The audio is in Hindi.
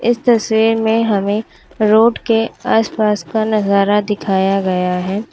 इस तस्वीर में हमें रोड के आस पास का नजारा दिखाया गया है।